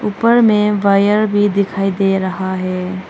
ऊपर में वायर भी दिखाई दे रहा है।